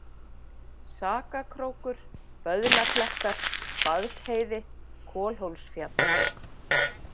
Sakakrókur, Böðlaklettar, Baðsheiði, Kolhólsfjall